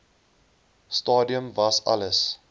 stadium was alles